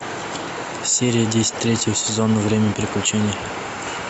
серия десять третьего сезона время приключений